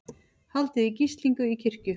Haldið í gíslingu í kirkju